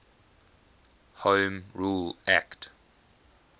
home rule act